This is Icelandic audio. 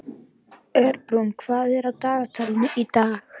Örbrún, hvað er á dagatalinu í dag?